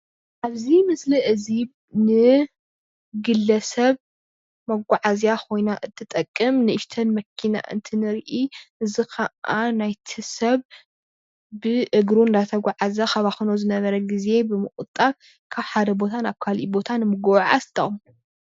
ኣብዚ ምስሊ እዚ ን ትጠቕሞ። መጓዓዝያ ኮይና እትጠቅም ንእሽትን መኪና እንትንርኢ እዚ ኸኣ ናይቲ ሰብ ብእግሩ እናተጉዓዘ ከባኽኖ ዝነበረ ግዜ ብምቑጣብ ካብ ሓደ ቦታ ናብ ካሊእ ቦታ ንምጉዓዝ ትጠቕሞ።